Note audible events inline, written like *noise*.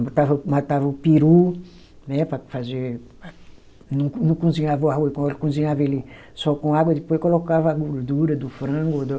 Matava o, matava o peru, né, para fazer. Não co, não cozinhava o arroz, *unintelligible* cozinhava ele só com água, depois colocava a gordura do frango, do